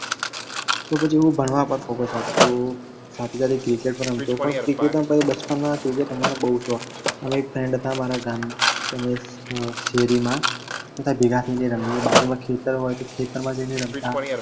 તો પછી હું ભણવા પર focus આપતો સાથે સાથે cricket પણ રમતો પણ cricket આમ બાર બચપણ માં cricket રમવાનો બોવ શોખ અને એક friend હતા અમારા ગામના તને શેરીમાં બધા ભેગા થઈને રમીયે બાજુમાં ખેતર હોય તો ખેતરમાં જઈને રમતા.